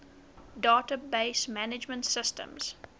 database management systems